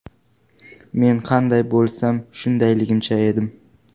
Men qanday bo‘lsam, shundayligimcha edim.